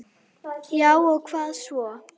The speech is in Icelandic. Já og hvað svo?